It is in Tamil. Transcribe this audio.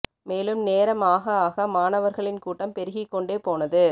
மேலும் நேரம் ஆக ஆக மாணவர்களின் கூட்டம் பெருகிக்கொண்டே போனது